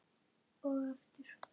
Og aftur.